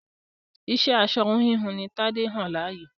Iṣẹ́ aṣọ-híhun ni Tadé yàn láàyò.